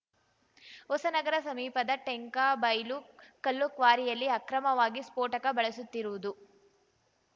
ಹೊಸನಗರ ಸಮೀಪದ ಟೆಂಕಬೈಲು ಕಲ್ಲು ಕ್ವಾರಿಯಲ್ಲಿ ಅಕ್ರಮವಾಗಿ ಸ್ಫೋಟಕ ಬಳಸುತ್ತಿರುವುದು